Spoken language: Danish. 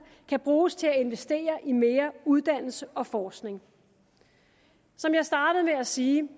kan bruges til at investere i mere uddannelse og forskning som jeg startede med at sige